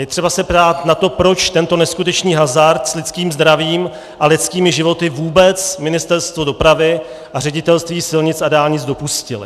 Je třeba se ptát na to, proč tento neskutečný hazard s lidským zdravím a lidskými životy vůbec Ministerstvo dopravy a Ředitelství silnic a dálnic dopustily.